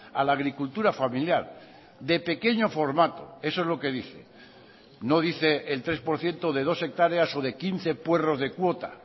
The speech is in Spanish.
a la agricultura familiar de pequeño formato eso es lo que dice no dice el tres por ciento de dos hectáreas o de quince puerros de cuota